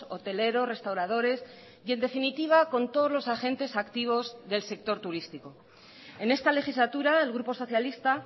hoteleros restauradores y en definitiva con todos los agentes activos del sector turístico en esta legislatura el grupo socialista